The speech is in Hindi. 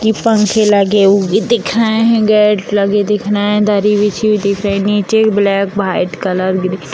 की पंख लगे हुए दिख रहे हैं गेट लगे हुए दिख रहे हैं दरी लगी हुई दिख रही हैं नीचे एक ब्लैक व्हाइट कलर की --